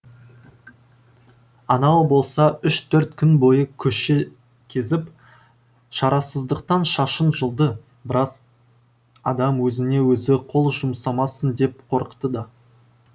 анау болса үш төрт күн бойы көше кезіп шарасыздықтан шашын жұлды біраз адам өзіне өзі қол жұмсамасын деп қорықты да